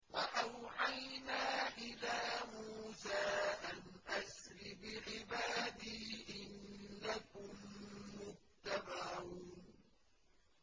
۞ وَأَوْحَيْنَا إِلَىٰ مُوسَىٰ أَنْ أَسْرِ بِعِبَادِي إِنَّكُم مُّتَّبَعُونَ